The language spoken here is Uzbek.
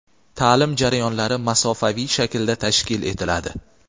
ta’lim jarayonlari masofaviy shaklda tashkil etiladi.